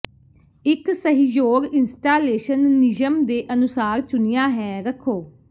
ਇੱਕ ਸਹਿਯੋਗ ਇੰਸਟਾਲੇਸ਼ਨ ਨਿਯਮ ਦੇ ਅਨੁਸਾਰ ਚੁਣਿਆ ਹੈ ਰੱਖੋ